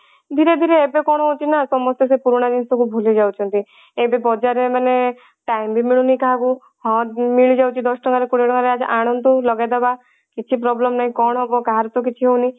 ଧୀରେ ଧୀରେ ଏବେ କଣ ହଉଛି ନା ସମସ୍ତେ ସେ ପୁରୁଣା ଜିନିଷ କୁ ଭୁଲି ଯାଉଛନ୍ତି ଏବେ ବଜାର ରେ ମାନେ time ବି ମିଳୁନି କାହାକୁ ହଁ ମିଳିଯାଉଛି ଦଶ ଟଙ୍କା ର କୋଡିଏ ଟଙ୍କା ର ଆଣନ୍ତୁ ଲଗେଇଦବା କିଛି problem ନାଇଁ କଣ ହବ କାହାର ତ କିଛି ହଉନି